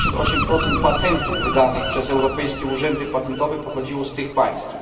88 patentów wydanych przez europejskie urzędy patentowe pochodziło z tych państw.